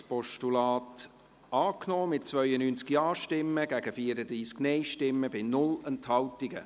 Sie haben das Postulat angenommen, mit 92 Ja- gegen 34 Nein-Stimmen bei 0 Enthaltungen.